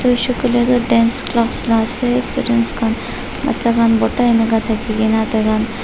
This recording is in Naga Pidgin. kuishe koile tu dance class la ase students khan bacha khan borta eneka thaki na taikhan --